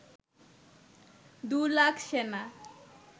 দু লাখ সেনা